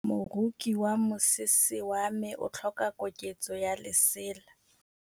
Moroki wa mosese wa me o tlhoka koketsô ya lesela.